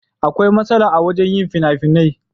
Akwai masala wajen yin finafinan.